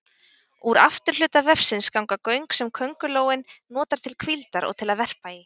Úr afturhluta vefsins ganga göng sem köngulóin notar til hvíldar og til að verpa í.